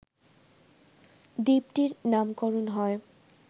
দ্বীপটির নামকরণ হয়